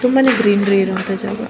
ತುಂಬನೇ green green ಇರುವಂತಹ ಜಾಗ.